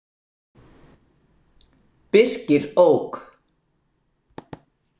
Birkir ók.